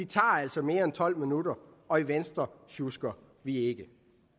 tager altså mere end tolv minutter og i venstre sjusker vi ikke